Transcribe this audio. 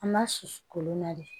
An b'a susu kolon na de